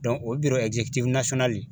o le